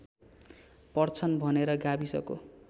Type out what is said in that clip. पर्छन् भनेर गाविसको